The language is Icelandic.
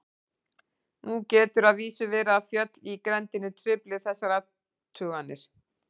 Nú getur að vísu verið að fjöll í grenndinni trufli þessar athuganir.